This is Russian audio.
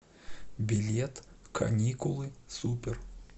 билет каникулы супер